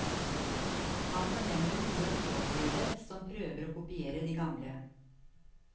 Man fornemmer noe uopplevet, som prøver å kopiere de gamle.